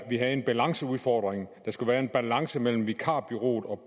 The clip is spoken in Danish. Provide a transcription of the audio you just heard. vi havde en balanceudfordring der skulle være en balance mellem vikarbureauet og